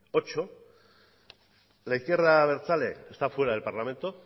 ocho la izquierda abertzale está fuera del parlamento